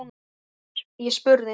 Ég spurði